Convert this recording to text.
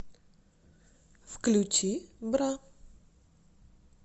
включи бра